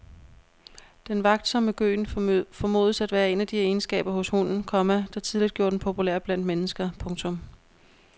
Den vagtsomme gøen formodes at være en af de egenskaber hos hunden, komma der tidligt gjorde den populær blandt mennesker. punktum